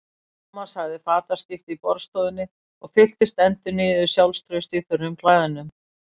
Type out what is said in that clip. Thomas hafði fataskipti í borðstofunni og fylltist endurnýjuðu sjálfstrausti í þurrum klæðunum.